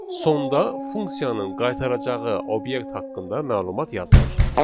Sonda funksiyanın qaytaracağı obyekt haqqında məlumat yazılır.